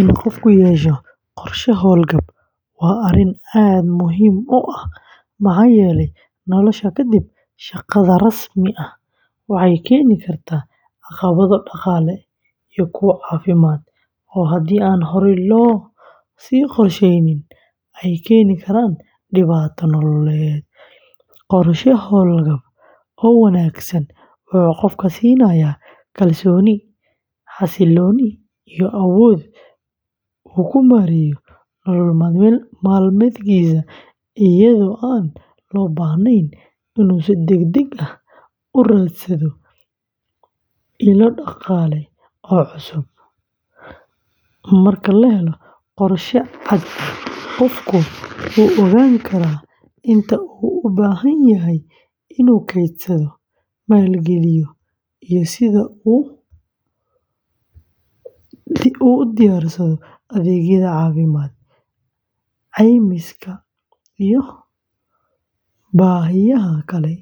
In qofku yeesho qorshe hawlgab waa arrin aad muhiim u ah maxaa yeelay nolosha kadib shaqada rasmi ah waxay keeni kartaa caqabado dhaqaale iyo kuwo caafimaad oo haddii aan horey loo sii qorsheyn ay keeni karaan dhibaato nololeed. Qorshe hawlgab oo wanaagsan wuxuu qofka siinayaa kalsooni, xasillooni iyo awood uu ku maareeyo nolol maalmeedkiisa iyadoo aan loo baahnayn inuu si degdeg ah u raadsado ilo dhaqaale oo cusub. Marka la helo qorshe cad, qofku wuu ogaan karaa inta uu u baahan yahay inuu kaydsado, maalgeliyo, iyo sida uu u diyaarsado adeegyada caafimaadka, caymiska, iyo baahiyaha kale